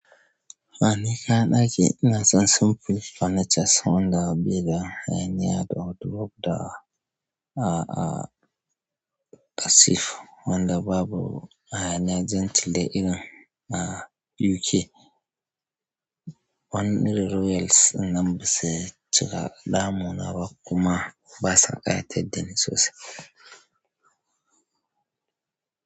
Ni kayan ɗaki ina son simple furnitures wanda bai da hayaniya da wardrobe da a, a, a safe wanda babu hayaniya gentle dai irin na UK. Wani irin royals ɗin nan ba su cika damu na ba, kuma ba sa ƙayatar da ni sosai.